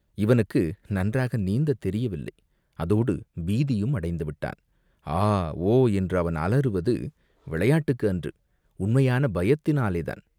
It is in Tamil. இவனுக்கு நன்றாக நீந்தத் தெரியவில்லை, அதோடு பீதியும் அடைந்து விட்டான், ஆ, ஓ என்று அவன் அலறுவது விளையாட்டுக்கு அன்று, உண்மையான பயத்தினாலேதான்.